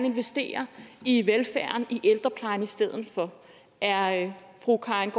investere i velfærden i ældreplejen i stedet er fru karin